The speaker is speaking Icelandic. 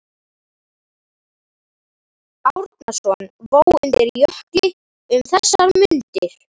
Árnason vó undir Jökli um þessar mundir.